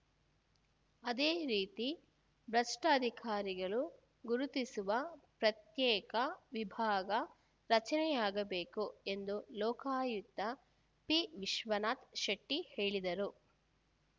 ಅದೇ ರೀತಿ ಭ್ರಷ್ಟ ಅಧಿಕಾರಿಗಳನ್ನು ಗುರುತಿಸುವ ಪ್ರತ್ಯೇಕ ವಿಭಾಗ ರಚನೆಯಾಗಬೇಕು ಎಂದು ಲೋಕಾಯುಕ್ತ ಪಿವಿಶ್ವನಾಥ ಶೆಟ್ಟಿಹೇಳಿದರು